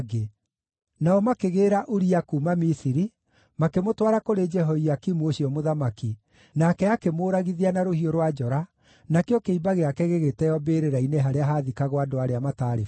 Nao makĩgĩĩra Uria kuuma Misiri, makĩmũtwara kũrĩ Jehoiakimu ũcio mũthamaki, nake akĩmũũragithia na rũhiũ rwa njora, nakĩo kĩimba gĩake gĩgĩteeo mbĩrĩra-inĩ harĩa haathikagwo andũ arĩa mataarĩ bata).